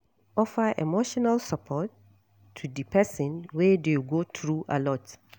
Offer emotional support to di person wey dey go through alot